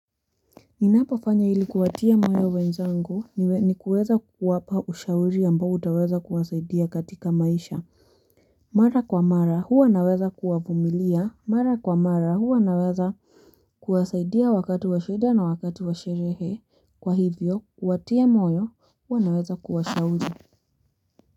Ninapafanya hili kuwatia moyo wenzangu ni kuweza kuwapa ushauri amba utaweza kuwasaidia katika maisha. Mara kwa mara huwa naweza kuwavumilia. Mara kwa mara huwa naweza kuwasaidia wakatu wa sheda na wakatu wa sherehe. Kwa hivyo kuwatia moyo huwa naweza kuwashauri.